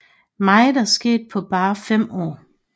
Meget er sket på bare 5 år